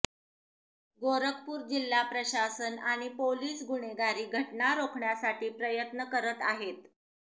गोरखपूर जिल्हा प्रशासन आणि पोलीस गुन्हेगारी घटना रोखण्यासाठी प्रयत्न करत आहेत